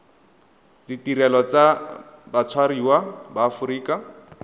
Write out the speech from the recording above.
ditirelo tsa batshwariwa ba aforika